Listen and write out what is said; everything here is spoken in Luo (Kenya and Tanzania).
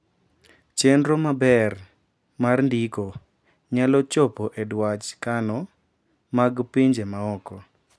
chenro maber mar ndiko nyalo chopo e dwach kano mag pinje maoko